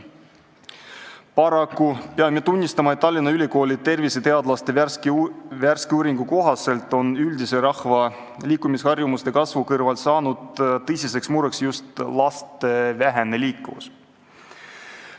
Paraku peame tunnistama, et Tallinna Ülikooli terviseteadlaste värske uuringu kohaselt on üldise rahva liikumisharjumuste kasvu kõrval saanud tõsiseks mureks just laste vähene liikuvus.